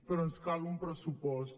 però ens cal un pressupost